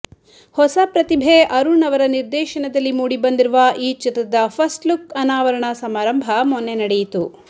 ಹೊಸ ಪ್ರತಿಭೆ ಅರುಣ್ ಅವರ ನಿರ್ದೇಶನದಲ್ಲಿ ಮೂಡಿ ಬಂದಿರುವ ಈ ಚಿತ್ರದ ಫಸ್ಟ್ಲುಕ್ ಅನಾ ವರಣ ಸಮಾರಂಭ ಮೊನ್ನೆ ನಡೆಯಿತು